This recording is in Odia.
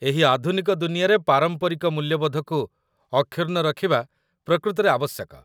ଏହି ଆଧୁନିକ ଦୁନିଆଁରେ ପାରମ୍ପରିକ ମୂଲ୍ୟବୋଧକୁ ଅକ୍ଷୁର୍ଣ୍ଣ ରଖିବା ପ୍ରକୃତରେ ଆବଶ୍ୟକ